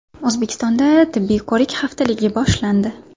O‘zbekistonda tibbiy ko‘rik haftaligi boshlandi.